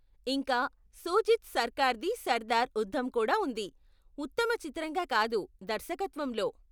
ఇంకా షూజిత్ సర్కార్ది సర్దార్ ఉద్ధం కూడా ఉంది, ఉత్తమ చిత్రంగా కాదు, దర్శకత్వంలో.